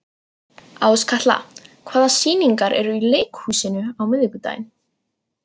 Áskatla, hvaða sýningar eru í leikhúsinu á miðvikudaginn?